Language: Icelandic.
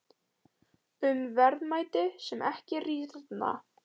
Um verðmæti sem ekki rýrna.